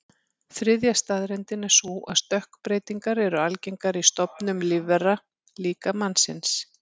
Þriðja staðreyndin er sú að stökkbreytingar eru algengar í stofnum lífvera, líka mannsins.